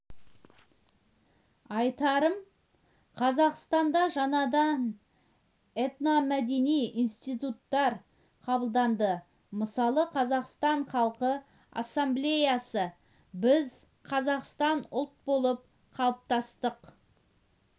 айтарым қазақстанда жаңадан этномәдени институттар қабылданды мысалы қазақстан халқы ассамблеясы біз қазақстан ұлт болып қалыптастық